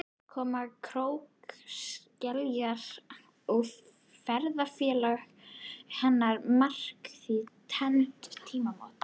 Koma krókskeljarinnar og ferðafélaga hennar markar því tvenn tímamót.